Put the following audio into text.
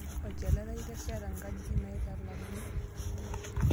Olchore lai itesheta ngajijik naitalakuni?